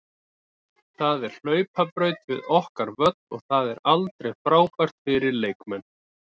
Það er hlaupabraut við okkar völl og það er aldrei frábært fyrir leikmenn.